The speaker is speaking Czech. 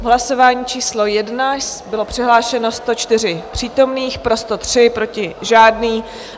V hlasování číslo 1 bylo přihlášeno 104 přítomných, pro 103, proti žádný.